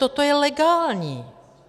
Toto je legální.